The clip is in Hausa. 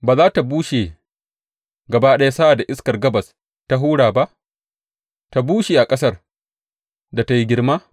Ba za tă bushe gaba ɗaya sa’ad da iskar gabas ta hura ba, tă bushe a ƙasar da ta yi girma?’